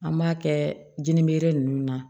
An b'a kɛ jininbele ninnu na